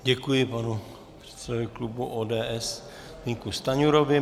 Děkuji panu předsedovi klubu ODS Zbyňku Stanjurovi.